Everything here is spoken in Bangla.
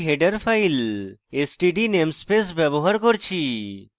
std namespace ব্যবহার করেছি